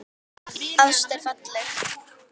Ást er falleg.